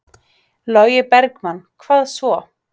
Logi Bergmann: Hvað svo?